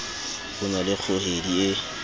o na le kgohedi e